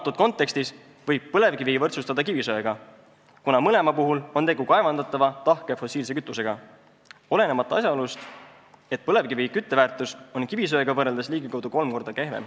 Selles kontekstis võib põlevkivi võrdsustada kivisöega, kuna mõlema puhul on tegu kaevandatava, tahke fossiilkütusega, olenemata asjaolust, et põlevkivi kütteväärtus on kivisöe kütteväärtusega võrreldes ligikaudu kolm korda kehvem.